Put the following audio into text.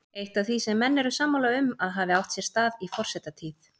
Eitt af því sem menn eru sammála um að hafi átt sér stað í forsetatíð